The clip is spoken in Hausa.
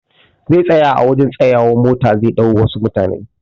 Zai tsaya a wajan tsayawan mota zai ɗau wasu mutane